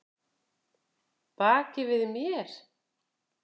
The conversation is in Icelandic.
Baki við mér?